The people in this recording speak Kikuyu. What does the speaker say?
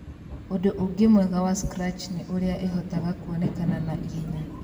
Ũndũ ũngĩ mwega wa Scratch nĩ ũrĩa ĩhotaga kũonekana na na ihenya.